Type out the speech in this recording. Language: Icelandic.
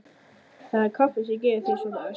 Það er kaffið sem gerir þig svona æstan.